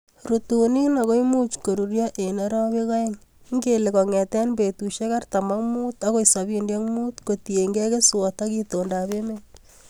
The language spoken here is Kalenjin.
Rutunin ago imuch koruryo en orowek oeng'.Ingele kong'eten betusiek artam ak mut agoi sobini ak mut kotiengei keswot ok itondap emet.